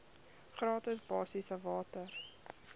gratis basiese water